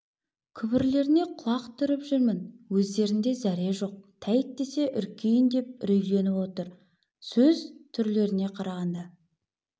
күбірлеріне құлақ түріп жүрмін өздерінде зәре жоқ тәйт десе үркейін деп үрейленіп отыр сөз түрлеріне қарағанда